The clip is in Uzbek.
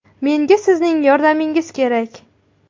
Menga sizning yordamingiz kerak.